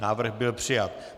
Návrh byl přijat.